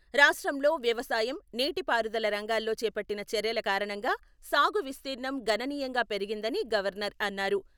రాష్ట్రంలో వ్యవసాయం, నీటిపారుదల రంగాల్లో చేపట్టిన చర్యల కారణంగా సాగు విస్తీర్ణం గణనీయంగా పెరిగిందని గవర్నర్ అన్నారు.